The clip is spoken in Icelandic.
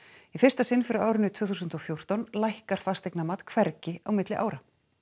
í fyrsta sinn frá árinu tvö þúsund og fjórtán lækkar fasteignamat hvergi á milli ára